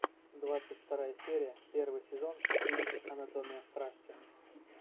двадцать вторая серия первый сезон фильм анатомия страсти